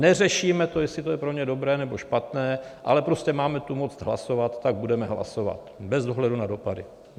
Neřešíme to, jestli to je pro ně dobré, nebo špatné, ale prostě máme tu moc hlasovat, tak budeme hlasovat bez ohledu na dopady!